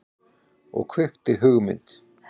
Og kveikti hugmynd.